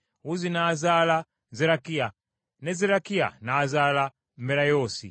Uzzi n’azaala Zerakiya, ne Zerakiya n’azaala Merayoosi;